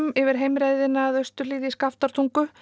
yfir heimreiðina að austurhlíð í Skaftártungu